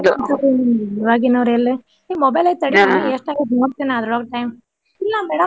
ಈವಾಗಿನಾವ್ರ ಎಲ್ಲೆ ಏ mobile ಐತಿ ತಡಿಯಾ ಎಷ್ಟ್ ಆಗೇತಿ ನೋಡ್ತಿನ್ ನಾ ಅದ್ರೋಳಗ time ಇಲ್ಲಾ madam .